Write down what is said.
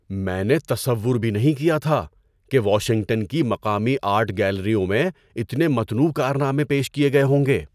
میں نے تصور بھی نہیں کیا تھا کہ واشنگٹن کی مقامی آرٹ گیلریوں میں اتنے متنوع کارنامے پیش کیے گئے ہوں گے۔